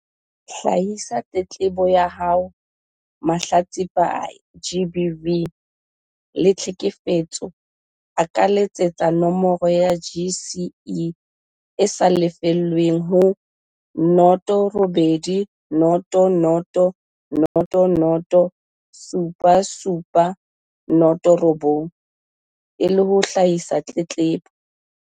Hlahisa tletlebo ya haoMahlatsipa a GBV le tlheke fetso a ka letsetsa nomoro ya CGE e sa lefellweng ho 0800 007 709 e le ho hlahisa tletlebo.